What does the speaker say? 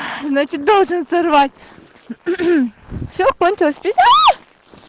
значит должен сорвать все кончилось